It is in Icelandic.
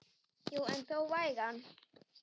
Já en þó vægan.